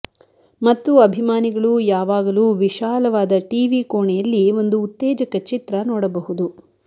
ಮತ್ತು ಅಭಿಮಾನಿಗಳು ಯಾವಾಗಲೂ ವಿಶಾಲವಾದ ಟಿವಿ ಕೋಣೆಯಲ್ಲಿ ಒಂದು ಉತ್ತೇಜಕ ಚಿತ್ರ ನೋಡಬಹುದು